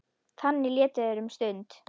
Þannig létu þeir um stund.